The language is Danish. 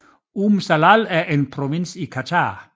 Umm Salal er en provins i Qatar